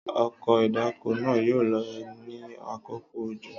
ọkọ̀ ìdáko naa yoo lo ni akoko ojo.